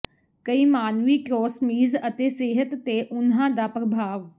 ਕਈ ਮਾਨਵੀ ਟ੍ਰਸੋਮੀਜ਼ ਅਤੇ ਸਿਹਤ ਤੇ ਉਨ੍ਹਾਂ ਦਾ ਪ੍ਰਭਾਵ